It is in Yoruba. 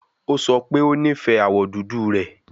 O sọ pe o nifẹ awọ dudu rẹ